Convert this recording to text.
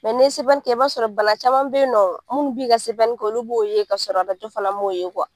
ni CPN kɛ i b'a sɔrɔ bana caman bɛ ye nɔ munnu b'i ka CPN kɛ ulu b'o ye ka sɔrɔ arajo fana m'o ye